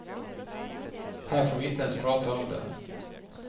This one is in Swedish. Här får vi inte ens prata om det.